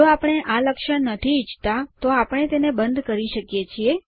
જો આપણે આ લક્ષણ નથી ઈચ્છતા તો આપણે તેને બંધ કરી શકીએ છીએ